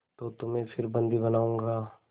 तो तुम्हें फिर बंदी बनाऊँगा